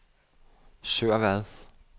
Sørvad